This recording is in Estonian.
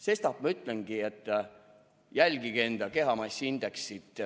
Sestap ma ütlengi, et jälgige enda kehamassiindeksit.